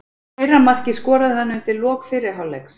Fyrra markið skoraði hann undir lok fyrri hálfleiks.